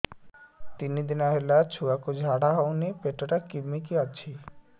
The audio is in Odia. ତିନି ଦିନ ହେଲା ଛୁଆକୁ ଝାଡ଼ା ହଉନି ପେଟ ଟା କିମି କି ଅଛି